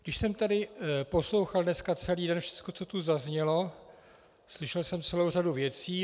Když jsem tady poslouchal dneska celý den všecko, co tu zaznělo, slyšel jsem celou řadu věcí.